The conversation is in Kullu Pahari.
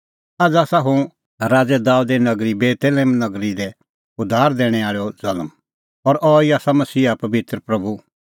आझ़ आसा हुअ राज़ै दाबेदे नगरी बेतलेहम तम्हां लै उद्धार दैणैं आल़ैओ ज़ल्म और अहैई आसा मसीहा पबित्र प्रभू